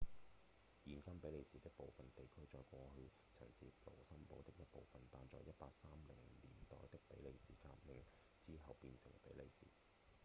現今比利時的部分地區在過去曾是盧森堡的一部分但在1830年代的比利時革命之後變成比利時